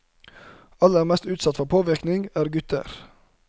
Aller mest utsatt for påvirkning er gutter.